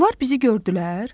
Onlar bizi gördülər?